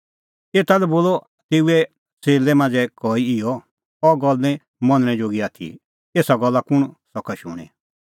एता लै बोलअ तेऊए च़ेल्लै मांझ़ै कई इहअ अह गल्ल निं मनणै जोगी आथी एसा गल्ला कुंण सका शूणीं